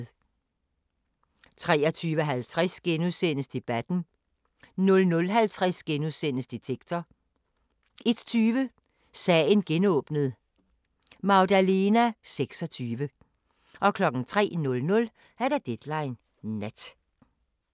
23:50: Debatten * 00:50: Detektor * 01:20: Sagen genåbnet: Magdalena 26 03:00: Deadline Nat